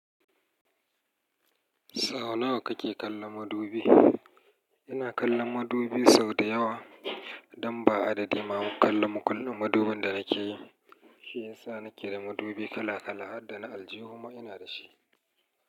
Sau nawa kake kallon madubi? Ina kallon madubi sau dayawa, don ba adadi ma kalla mukull--madubin da nake yi. Shi ya sa nake da madubi kala kala harda na aljihu ma ina da shi.